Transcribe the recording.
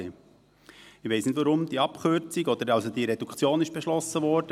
Ich weiss nicht, warum diese Abkürzung oder diese Reduktion beschlossen wurde.